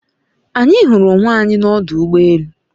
Anyi huru onwe anyi n'odu ugbo elu